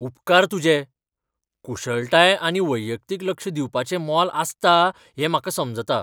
उपकार तुजे ! कुशळटाय आनी वैयक्तीक लक्ष दिवपाचें मोल आसता हें म्हाका समजता.